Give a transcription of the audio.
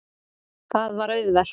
Það var auðvelt.